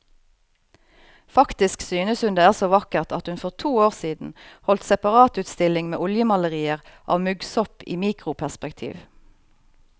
Faktisk synes hun det er så vakkert at hun for to år siden holdt separatutstilling med oljemalerier av muggsopp i mikroperspektiv.